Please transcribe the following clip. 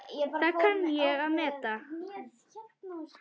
Það kann ég að meta.